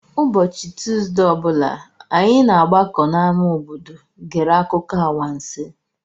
Ụbọchị Tuuzdee ọ bụla, anyị na-agbakọ n'ámá obodo gere akụkọ anwansi.